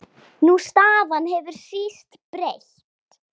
Sú staða hefur síst breyst.